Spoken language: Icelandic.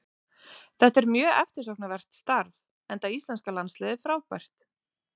Þetta er mjög eftirsóknarvert starf enda íslenska landsliðið frábært.